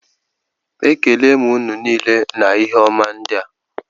Ekelere m ụnụ niile na ihe ọma ndị a